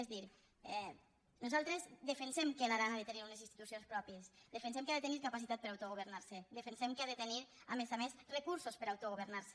és a dir nosaltres defensem que l’aran ha de tenir unes institucions pròpies defensem que ha de tenir capacitat per autogovernar se defensem que ha de tenir a més a més recursos per autogovernar se